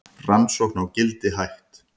Rannsókn á Gildi hætt